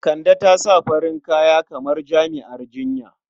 Kande ta sa farin kaya kamar jami'ar jinya.